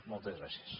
moltes gràcies